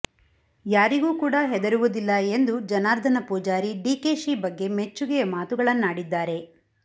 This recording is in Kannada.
ಯಾರಿಗೂ ಕೂಡ ಹೆದರುವುದಿಲ್ಲ ಎಂದು ಜನಾರ್ದನ ಪೂಜಾರಿ ಡಿಕೆಶಿ ಬಗ್ಗೆ ಮೆಚ್ಚುಗೆಯ ಮಾತುಗಳನ್ನಾಡಿದ್ದಾರೆ